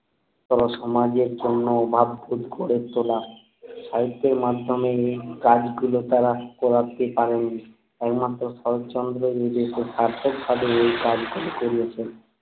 পরে সমাজের জন্য ওবাদ কুট করে সাহিত্যের মাধ্যমে কাজ গুলো তারা করাতে পারেননি একমাত্র শরৎচন্দ্র নিজে সেই ধার্যক খাটুনির কাজ গুলো করেইছেন